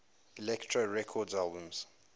elektra records albums